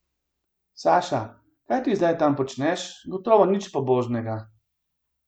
Saša, kaj ti zdaj tam počneš, gotovo nič pobožnega?